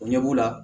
O ɲɛ b'u la